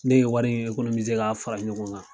Ne ye wari in k'a fara ɲɔgɔn kan.